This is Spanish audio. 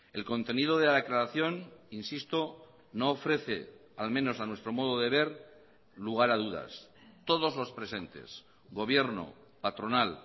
el contenido de la declaración insisto no ofrece al menos a nuestro modo de ver lugar a dudas todos los presentes gobierno patronal